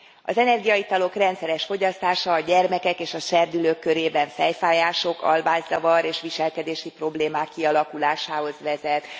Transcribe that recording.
Az energiaitalok rendszeres fogyasztása a gyermekek és a serdülők körében fejfájások, alvászavar és viselkedési problémák kialakulásához vezet.